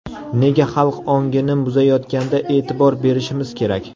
Nega xalq ongini buzayotganda e’tibor berishimiz kerak?